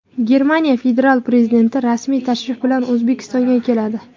Germaniya federal prezidenti rasmiy tashrif bilan O‘zbekistonga keladi.